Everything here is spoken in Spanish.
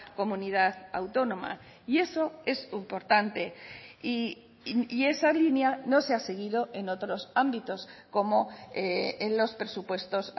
comunidad autónoma y eso es importante y esa línea no se ha seguido en otros ámbitos como en los presupuestos